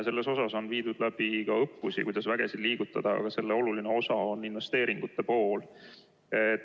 On läbi viidud õppusi, kuidas vägesid liigutada, aga selle oluline osa on ka investeeringute pool.